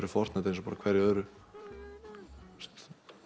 hverju öðru það